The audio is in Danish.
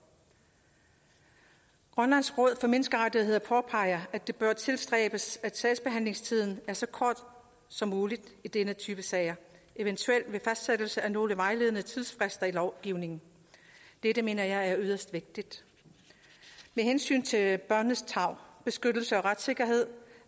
grønlands råd for menneskerettigheder påpeger at det bør tilstræbes at sagsbehandlingstiden er så kort som muligt i denne type sager eventuelt ved fastsættelse af nogle vejledende tidsfrister i lovgivningen dette mener jeg er yderst vigtigt med hensyn til børnenes tarv beskyttelse og retssikkerhed